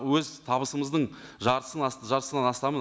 өз табысымыздың жартысын жартысынан астамын